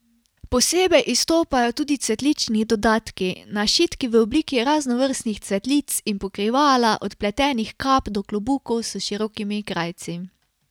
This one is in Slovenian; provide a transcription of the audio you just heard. Posebej izstopajo tudi cvetlični dodatki, našitki v obliki raznovrstnih cvetlic in pokrivala, od pletenih kap do klobukov s širokimi krajci.